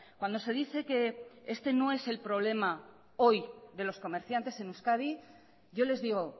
cuando se dice que este no es el problema hoy de los comerciantes en euskadi yo les digo